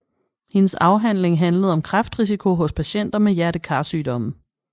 Hendes afhandling handlede om kræftrisiko hos patienter med hjertekarsygdomme